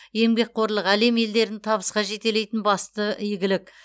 еңбекқорлық әлем елдерін табысқа жетелейтін басты игілік